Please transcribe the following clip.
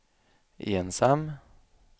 ensam